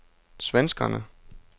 svenskerne